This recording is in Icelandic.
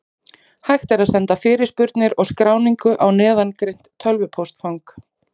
Hægt er að senda fyrirspurnir og skráningu á neðangreint tölvupóstfang.